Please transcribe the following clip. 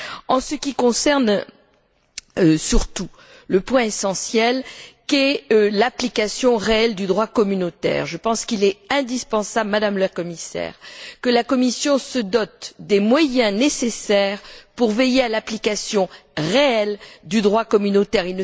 En ce qui concerne surtout le point essentiel qu'est l'application réelle du droit communautaire, je pense qu'il est indispensable, Madame la Commissaire, que la Commission se dote des moyens nécessaires pour veiller à l'application réelle du droit communautaire.